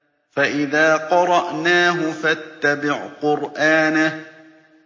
فَإِذَا قَرَأْنَاهُ فَاتَّبِعْ قُرْآنَهُ